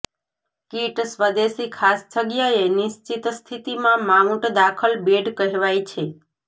kit સ્વદેશી ખાસ જગ્યાએ નિશ્ચિત સ્થિતિમાં માઉન્ટ દાખલ બેડ કહેવાય છે